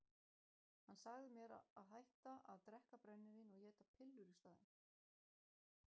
Hann sagði mér að hætta að drekka brennivín og éta pillur í staðinn.